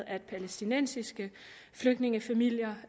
at palæstinensiske flygtningefamilier